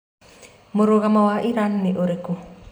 Mũrũgamo wa Iran ni ũrikũ?